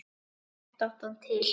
Þetta átti hann til.